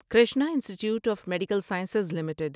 Krishna institute of medical sciences limited